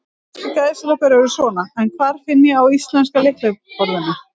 Íslenskar gæsalappir eru svona, en hvar finn ég á íslenska lyklaborðinu?